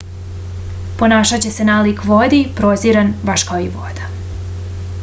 ponašaće se nalik vodi prozirno je baš kao i voda